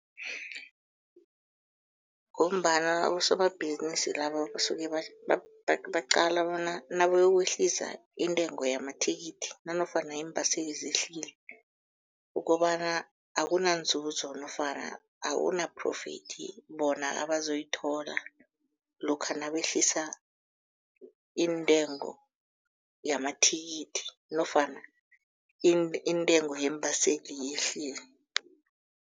Ngombana abosomabhizinisi laba basuke baqala bona nabayokwehlisa intengo yamamathikithi, nanofana iimbaseli zehlile, ukobana akunanzuzo nofana akuna-profit bona abazoyithola lokha nabehlisa iintengo yamathikithi nofana iintengo yembaseli yehlile.